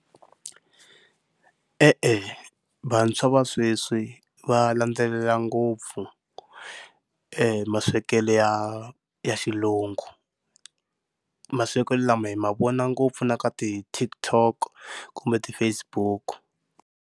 E-e vantshwa va sweswi va landzelela ngopfu e maswekelo ya ya xilungu, maswekelo lama hi ma vona ngopfu na ka ti-TikTok kumbe ti-Facebook.